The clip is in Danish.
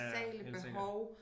Ja ja helt sikkert